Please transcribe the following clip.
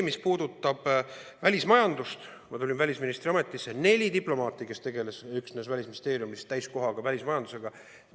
Mis puudutab välismajandust, siis kui ma alustasin välisministriametis, oli neli diplomaati, kes täiskohaga tegelesid Välisministeeriumis välismajandusega.